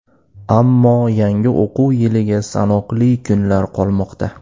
Ammo yangi o‘quv yiliga sanoqli kunlar qolmoqda.